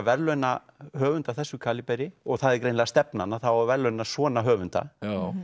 verðlauna höfund af þessu kaliberi og það er greinilega stefnan að það á að verðlauna svona höfunda